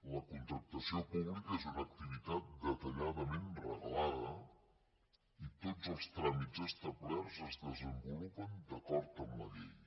la contractació pública és una activitat detalladament reglada i tots els tràmits establerts es desenvolupen d’acord amb la llei